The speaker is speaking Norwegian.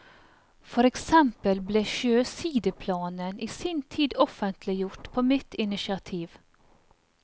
For eksempel ble sjøsideplanen i sin tid offentliggjort på mitt initiativ.